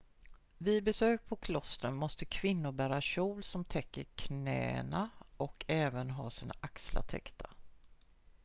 vid besök på klostren måste kvinnor bära kjol som täcker knäna och även ha sina axlar täckta